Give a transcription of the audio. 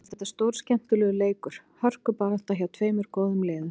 Mér fannst þetta stórskemmtilegur leikur, hörkubarátta, hjá tveimur góðum liðum.